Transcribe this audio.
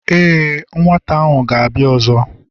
e, nwata ahu gābia ọzọ